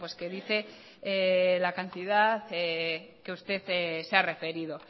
que dice la cantidad que usted se ha referido